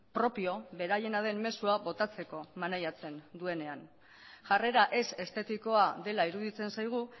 propio beraiena den mezua botatzeko maneiatzen duenean jarrera ez estetikoa dela iruditzen zaigu